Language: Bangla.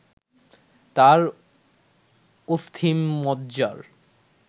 তার অস্থিমজ্জার